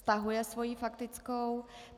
Stahuje svou faktickou.